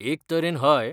एक तरेन हय.